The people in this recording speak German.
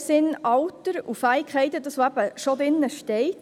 In dem Sinn: Alter und Fähigkeiten sind bereits im Gesetz enthalten.